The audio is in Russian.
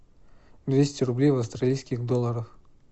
двести рублей в австралийских долларах